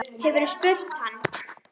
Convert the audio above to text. Hefurðu spurt hann?